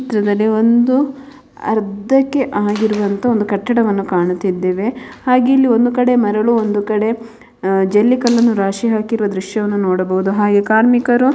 ಚಿತ್ರದಲ್ಲಿ ಒಂದು ಅರ್ಧಕ್ಕೆ ಆಗಿರುವಂತಹ ಒಂದು ಕಟ್ಟಡವನ್ನು ಕಾಣುತ್ತಿದ್ದೇವೆ ಹಾಗೆ ಇಲ್ಲಿ ಒಂದು ಕಡೆ ಮರಳು ಒಂದು ಕಡೆ ಜಲ್ಲಿ ಕಲ್ಲನ್ನು ರಾಶಿ ಹಾಕಿರುವ ದೃಶ್ಯವನ್ನು ನೋಡಬಹುದು ಹಾಗೆ ಕಾರ್ಮಿಕರು --